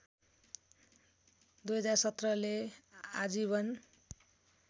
२०१७ ले आजीवन